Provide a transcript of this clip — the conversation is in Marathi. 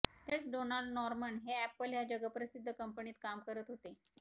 त्यावेळेस डोनाल्ड नॉर्मन हे अॅपल ह्या जगप्रसिद्ध कंपनीत काम करत होते